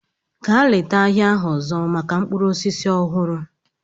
Gaa leta ahịa ahụ ọzọ maka mkpụrụ osisi ọhụrụ!